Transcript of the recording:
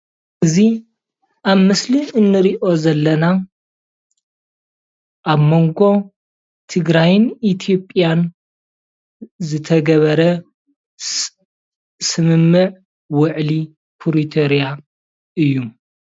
እዚ ኣብ ምስሊ ንሪኦ ዘለና ኣብ መንጎ ትግራይን ኢትዮጲያን ዝተገበረ ስምምዕ ዉዕሊ ፕሪቶሪያ እዩ